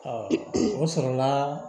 o sɔrɔla